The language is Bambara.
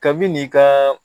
Kabi n'i ka